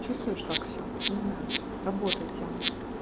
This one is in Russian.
чувствуешь так все не знаю работает тема